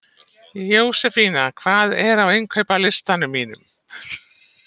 Jósefín, hvað er á innkaupalistanum mínum?